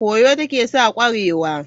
Kwoyo ta ke sa kwarewa.